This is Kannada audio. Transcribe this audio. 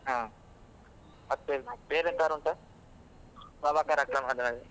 ಹಾ ಮತ್ತೆ ಎಂತಾದ್ರೂ ಉಂಟಾ ಸಭಾ ಕಾರ್ಯಕ್ರಮದಲ್ಲಿ?